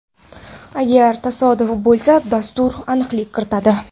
Agar tasodif bo‘lsa, dastur aniqlik kiritadi.